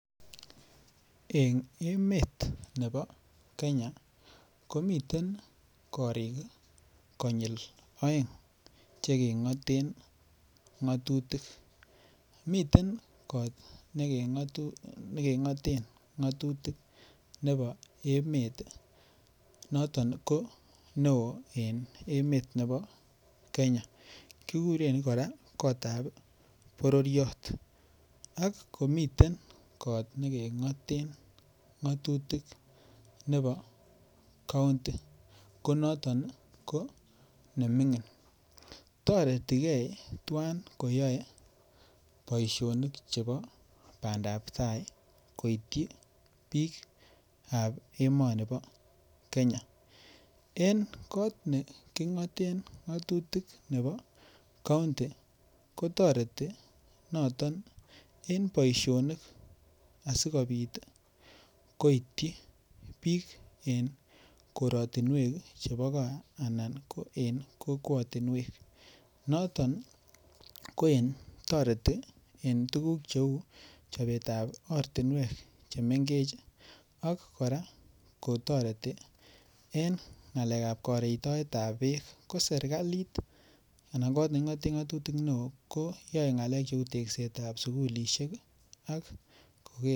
Eng' emet nebo Kenya komiten korik konyil oeng' chekeng'oten ng'otutik miten kot nekeng'oten ng'otutik nebo emet noton ko neo en emet nebo Kenya kikuren kora kotab bororiyot ak komiten kot nekeng'oten ng'otutik nebo county ko noton ko neming'in toretigei tuwan koyoe boishonik chebo bandaptai koityi biikab emoni bo Kenya eng' kot neking'oten ng'otutik nebo county kotoreti noton en boishonik asikobit koityi biik en koratinwek chebo ko anan kokwotinwek noton kotoreti en tukuk cheun chobetab ortinwek chemengech ak kora kotoreti en ng'alekab karetoetab beek ko serikalit anan kot neking'ote ng'otutik neo ko yoei ng'alekab cheu teksetab sukulishek